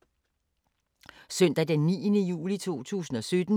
Søndag d. 9. juli 2017